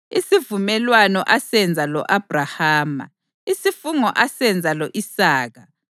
isivumelwano asenza lo-Abhrahama, isifungo asenza lo-Isaka,